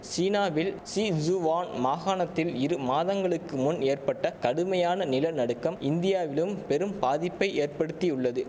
சீனாவில் Sichuan மாகாணத்தில் இரு மாதங்களுக்கு முன் ஏற்பட்ட கடுமையான நில நடுக்கம் இந்தியாவிலும் பெரும் பாதிப்பை ஏற்படுத்தியுள்ளது